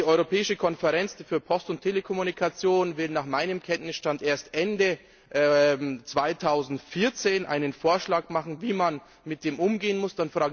Die Europäische Konferenz für Post und Telekommunikation wird nach meinem Kenntnisstand erst Ende 2014 einen Vorschlag machen, wie man damit umgehen muss.